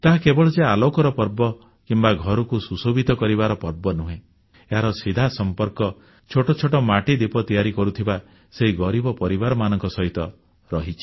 ତାହା କେବଳ ଯେ ଆଲୋକର ପର୍ବ କିମ୍ବା ଘରକୁ ସୁଶୋଭିତ କରିବାର ପର୍ବ ନୁହେଁ ଏହାର ସିଧା ସମ୍ପର୍କ ଛୋଟ ଛୋଟ ମାଟି ଦୀପ ତିଆରି କରୁଥିବା ସେହି ଗରିବ ପରିବାରମାନଙ୍କ ସହିତ ରହିଛି